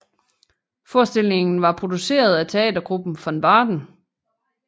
Forestillingen var produceret af teatergruppen Von Baden